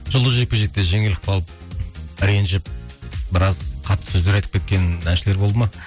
жұлдызды жекпе жекте жеңіліп қалып ренжіп біраз қатты сөздер айтып кеткен әншілер болды ма